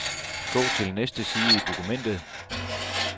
Gå til næste side i dokumentet.